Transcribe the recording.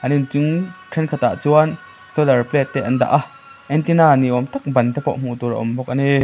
an in chung thenkhat ah chuan solar plate te an dah a antenna ni awm tak ban te pawh hmuh tur a awm bawk a ni.